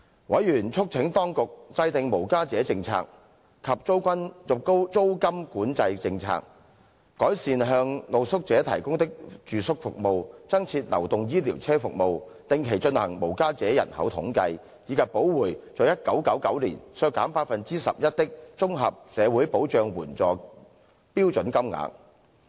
委員促請當局制訂無家者政策及租金管制政策、改善向露宿者提供的住宿服務、增設流動醫療車服務、定期進行無家者人口統計，以及補回在1999年削減的 11% 綜合社會保障援助標準金額。